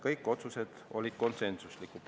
Kõik otsused olid konsensuslikud.